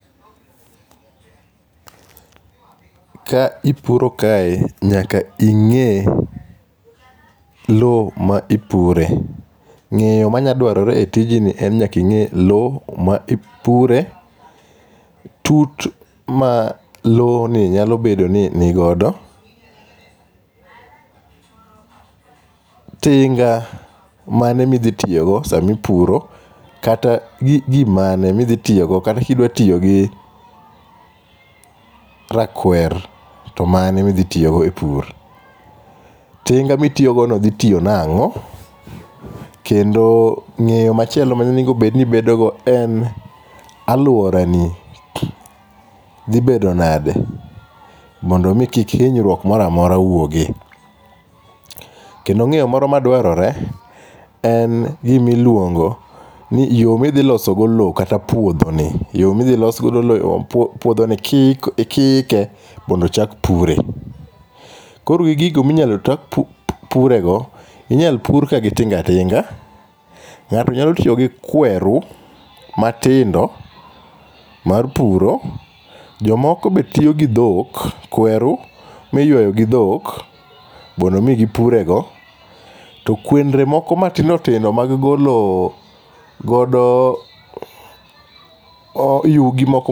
Ka ipuro kae nyaka ing'e low ma ipure. Ng'eyo ma nya dwarore e tijni en ni nyaka ing'e low ma ipure, tut ma low ni nyalo bedo ni nigodo, tinga mane mi dhi tiyogo samipuro kata gimane midhi tiyogo kata kidwa tiyogi rakwer to mane ma idhi tiyogo e pur. Tinga mitiyogo no dhi tiyo nang'o. Kendo ng'eyo machielo monengo bed ni ibedo go en aluora ni dhi bedo nade mondi mi kik hinyruok moro amora wuogo. Kendo ng'eyo moro madwarore en gimiluongo ni yo midhi loso go low kata puodho ni. Yo midhi los godo low kata puodho ike mondo ochak pure. Koro gigo minyalo chak pure go, inyal opur ka gi tinga tinga. Ng'ato nyalo tiyo gi kweru matindo mar puro. Jomoko be tiyo go dhok, kweru miywayo gi dhok mondo mi gipure go. To kwendre moko matindo tindo mak golo godo yugi moko